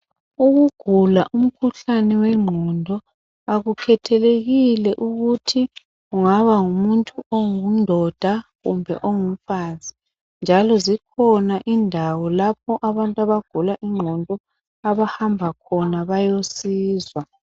Ukugula umkhuhlane wengqondo akukhethelekile ukuthi kungaba ngumuntu oyindoda kumbe ongumfazi njalo zikhona indawo lapho abantu abagula ingqondo abahamba khona bayosizwa.